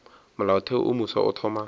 molaotheo wo mofsa o thoma